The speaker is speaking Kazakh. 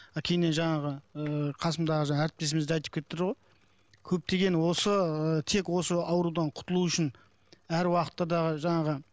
мына кейіннен жаңағы ыыы қасымдағы жаңағы әріптесіміз де айтып кетті ғой көптеген осы ы тек осы аурудан құтылу үшін әр уақытта да жаңағы